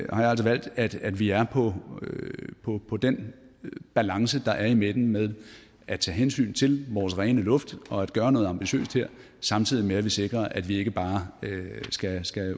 jeg altså valgt at vi er på på den balance der er i midten med at tage hensyn til vores rene luft og at gøre noget ambitiøst her samtidig med at vi sikrer at vi ikke bare skal